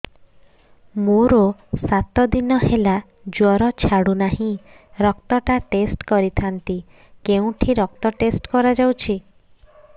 ମୋରୋ ସାତ ଦିନ ହେଲା ଜ୍ଵର ଛାଡୁନାହିଁ ରକ୍ତ ଟା ଟେଷ୍ଟ କରିଥାନ୍ତି କେଉଁଠି ରକ୍ତ ଟେଷ୍ଟ କରା ଯାଉଛି